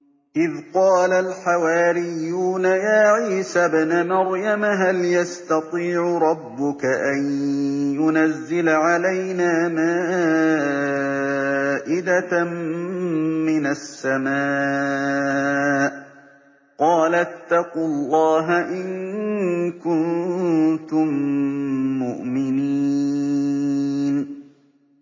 إِذْ قَالَ الْحَوَارِيُّونَ يَا عِيسَى ابْنَ مَرْيَمَ هَلْ يَسْتَطِيعُ رَبُّكَ أَن يُنَزِّلَ عَلَيْنَا مَائِدَةً مِّنَ السَّمَاءِ ۖ قَالَ اتَّقُوا اللَّهَ إِن كُنتُم مُّؤْمِنِينَ